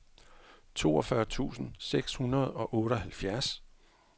toogfyrre tusind seks hundrede og otteoghalvfjerds